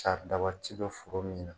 Saridaba ti don foro min na